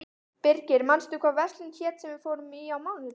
Birgir, manstu hvað verslunin hét sem við fórum í á mánudaginn?